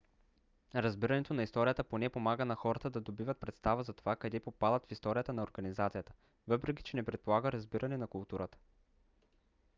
разбирането на историята поне помага на хората да добиват представа за това къде попадат в историята на организацията. въпреки че не предполага разбиране на културата